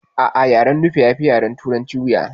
A'a yaren nufe yafi yaren turanci wuya